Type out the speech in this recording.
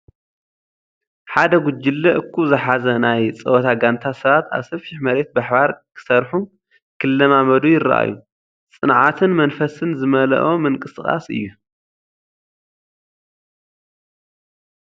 ሓደ ጉጅለ/ እኩብ ዝሓዘ ናይ ፀወታ ጋንታ ሰባት ኣብ ሰፊሕ መሬት ብሓባር ክሰርሑ/ ክለማመድ ይረኣዩ። ጸዓትን መንፈስን ዝመልአ ምንቅስቓስ እዩ።